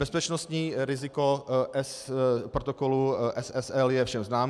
Bezpečnostní riziko protokolu SSL je všem známo.